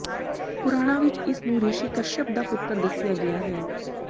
ਪੁਰਾਣਾਂ ਵਿਚ ਇਸ ਨੂੰ ਰਿਸ਼ੀ ਕਸ਼੍ਯਪ ਦਾ ਪੁੱਤਰ ਦੱਸਿਆ ਗਿਆ ਹੈ